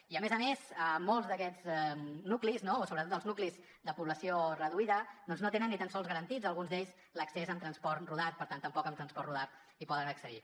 i a més a més molts d’aquests nuclis no o sobretot els nuclis de població reduïda doncs no tenen ni tan sols garantits alguns d’ells l’accés amb transport rodat per tant tampoc amb transport rodat hi poden accedir